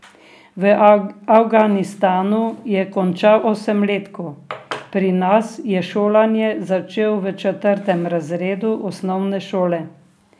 V Afganistanu je končal osemletko, pri nas je šolanje začel v četrtem razredu osnovne šole.